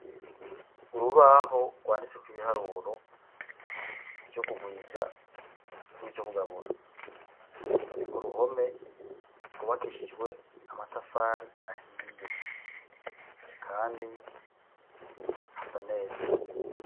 Urubaho rwanditse ko ibiharuro vyo kugwiza n'ivyo kugabura, nuriko ruhome rwubakeshijwe amatafari ahiye kandi hasa neza.